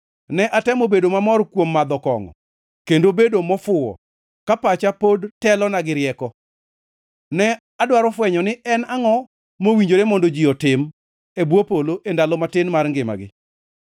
Ne atemo bedo mamor kuom madho kongʼo, kendo bedo mofuwo, ka pacha pod telona gi rieko. Ne adwaro fwenyo ni en angʼo mowinjore mondo ji otim e bwo polo e ndalo matin mar ngimani.